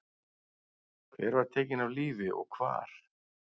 Hver var tekin af lífi og hvar?